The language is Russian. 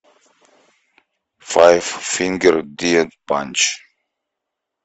файф фингер дет панч